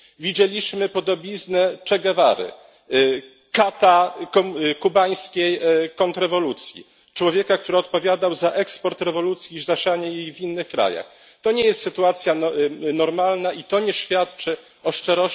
Widzieliśmy podobiznę Che Guevary, kata kubańskiej kontrrewolucji, człowieka, który odpowiadał za eksport rewolucji i zasianie jej w innych krajach. To nie jest sytuacja normalna i to nie świadczy o szczerości debaty, którą prowadzimy.